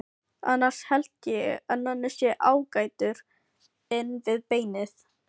Annars held ég að Nonni sé ágætur inn við beinið.